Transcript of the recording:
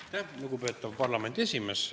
Aitäh, lugupeetav parlamendi esimees!